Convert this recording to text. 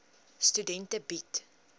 studente bied